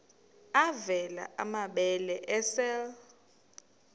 avela amabele esel